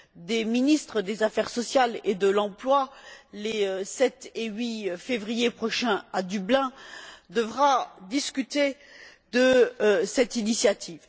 des ministres des affaires sociales et de l'emploi devra les 7 et 8 février prochain à Dublin discuter de cette initiative.